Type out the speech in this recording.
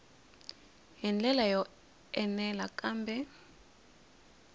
hi ndlela yo enela kambe